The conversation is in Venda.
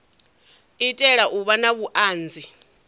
itela u vha na vhuanzi